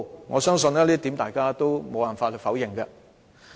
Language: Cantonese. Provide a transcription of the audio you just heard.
我相信這點無法否認。